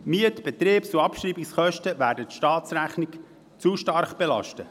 Die Miet-, Betriebs- und Abschreibungskosten werden die Staatsrechnung zu stark belasten.